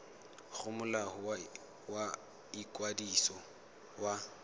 go molao wa ikwadiso wa